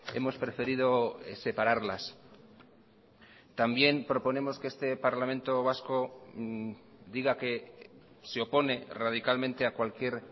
hemos preferido separarlas también proponemos que este parlamento vasco diga que se opone radicalmente a cualquier